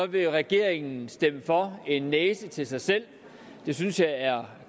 vil regeringen stemme for en næse til sig selv det synes jeg er